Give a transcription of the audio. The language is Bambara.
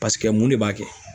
Paseke mun de b'a kɛ